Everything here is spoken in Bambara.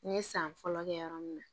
N ye san fɔlɔ kɛ yɔrɔ min na